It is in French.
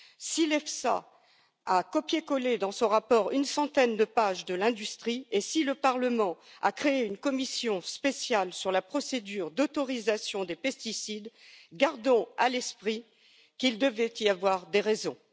Si l'EFSA a copié collé, dans ce rapport, une centaine de pages de l'industrie et si le Parlement a créé une commission spéciale sur la procédure d'autorisation des pesticides, gardons à l'esprit qu'il devait y avoir des raisons.